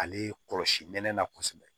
Ale kɔlɔsi nɛnɛ kosɛbɛ